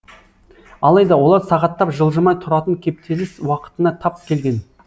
алайда олар сағаттап жылжымай тұратын кептеліс уақытына тап келген